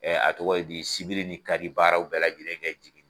a tɔgɔ ye di sibiri ni kari baaraw bɛɛ lajɛlen kɛ jigin